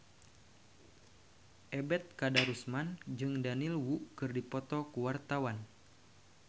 Ebet Kadarusman jeung Daniel Wu keur dipoto ku wartawan